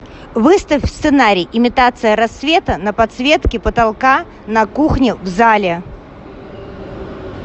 выставь сценарий имитация рассвета на подсветке потолка на кухне в зале